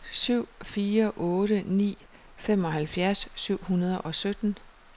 syv fire otte ni femoghalvfjerds syv hundrede og sytten